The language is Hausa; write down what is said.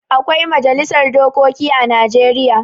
Akwai majalisar dokoki a Najeriya.